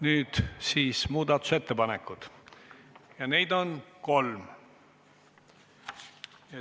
Nüüd tulevad muudatusettepanekud ja neid on kolm.